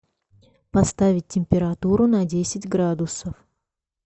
поставить температуру на десять градусов